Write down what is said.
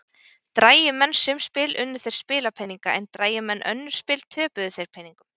Drægju menn sum spil unnu þeir spilapeninga en drægju menn önnur spil töpuðu þeir peningum.